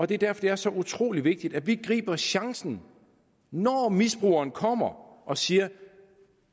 det er derfor det er så utrolig vigtigt at vi griber chancen når misbrugeren kommer og siger